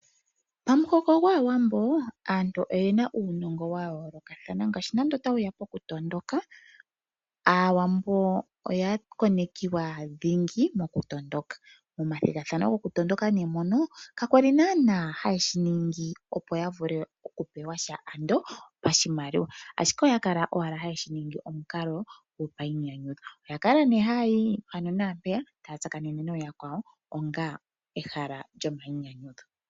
Pamuhoko gwAawambo aantu oyena uunongo wa yooloka ngaashi nande otashi ya kokutondoka aawambo oya konekiwa thingi mokutondoka. Momathigathano gokutondoka mono kayali haye shiningi, opo ya vule okupewasha ando oshimaliwa. Oya kala haye shiningi painyanyudho oya kala haya tsakaneke nayakwawo onga ehala lyopainyanyudho.